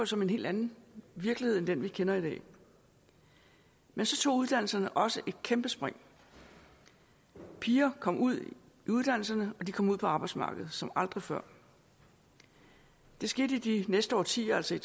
som en helt anden virkelighed end den vi kender i dag men så tog uddannelserne også et kæmpe spring piger kom ud i uddannelserne og de kom ud på arbejdsmarkedet som aldrig før det skete i de næste årtier altså i